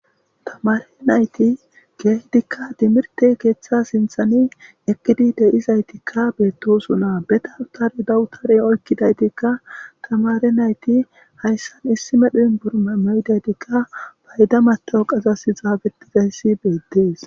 Tamare nayti keidika timirtte keththa sinththan eqqidi deizayssi bettosona be dawutare dawutare oyqqidaytika tamare nayti hayssan issi medhdho uniperme mayidaytika fayda matawaqqas xaffetizaysi bettes.